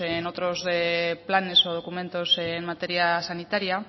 en otros planes o documentos en materia sanitaria